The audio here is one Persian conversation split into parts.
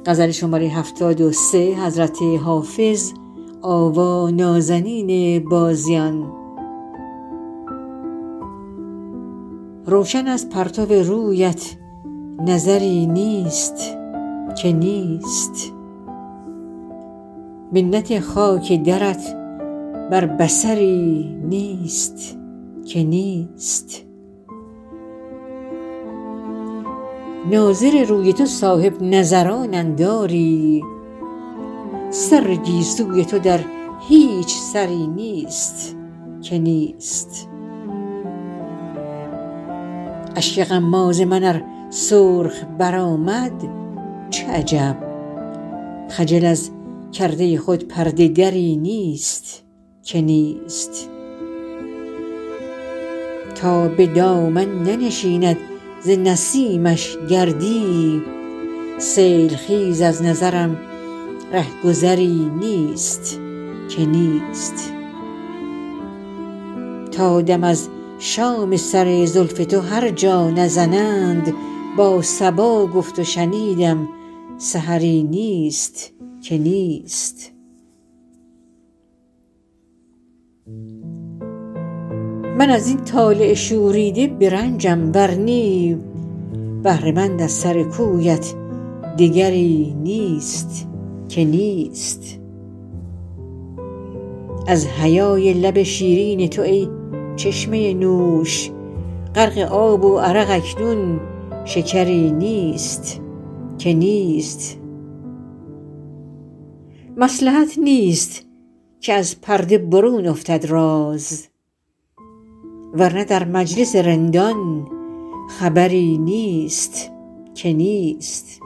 روشن از پرتو رویت نظری نیست که نیست منت خاک درت بر بصری نیست که نیست ناظر روی تو صاحب نظرانند آری سر گیسوی تو در هیچ سری نیست که نیست اشک غماز من ار سرخ برآمد چه عجب خجل از کرده خود پرده دری نیست که نیست تا به دامن ننشیند ز نسیمش گردی سیل خیز از نظرم ره گذری نیست که نیست تا دم از شام سر زلف تو هر جا نزنند با صبا گفت و شنیدم سحری نیست که نیست من از این طالع شوریده برنجم ور نی بهره مند از سر کویت دگری نیست که نیست از حیای لب شیرین تو ای چشمه نوش غرق آب و عرق اکنون شکری نیست که نیست مصلحت نیست که از پرده برون افتد راز ور نه در مجلس رندان خبری نیست که نیست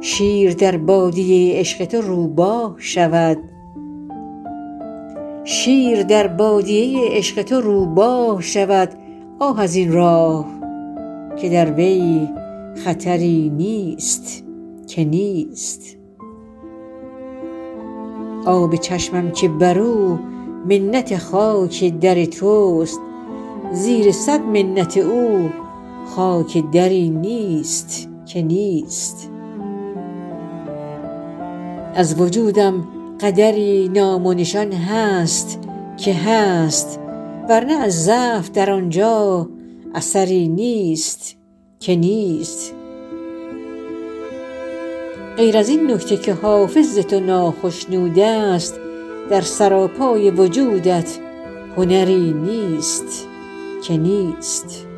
شیر در بادیه عشق تو روباه شود آه از این راه که در وی خطری نیست که نیست آب چشمم که بر او منت خاک در توست زیر صد منت او خاک دری نیست که نیست از وجودم قدری نام و نشان هست که هست ور نه از ضعف در آن جا اثری نیست که نیست غیر از این نکته که حافظ ز تو ناخشنود است در سراپای وجودت هنری نیست که نیست